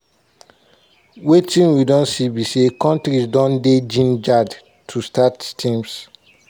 wetin we don see be say kontris don dey gingered to start teams.